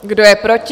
Kdo je proti?